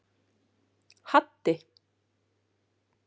Haddi